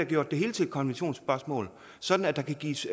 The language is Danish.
gjort det hele til en konventionsspørgsmål sådan at der kan gives